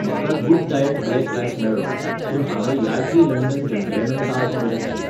म्हाका good day black rice मेळ्ळो, पूण हांवें Yardley London gentleman talc order केल्लो.